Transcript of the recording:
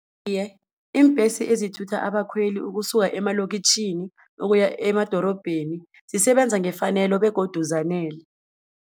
Iye, iimbhesi ezithutha abakhweli ukusuka emalokitjhini ukuya emadorobheni, zisebenza ngefanelo begodu zanele.